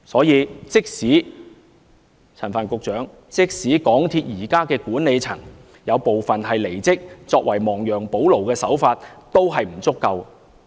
因此，陳帆局長，即使港鐵公司現時有部分管理層離職，作為亡羊補牢的手法，這也不足夠。